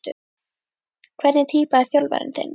Hvernig týpa er þjálfarinn þinn?